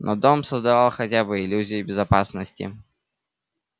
но дом создавал хотя бы иллюзию безопасности